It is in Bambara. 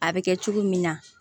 A bɛ kɛ cogo min na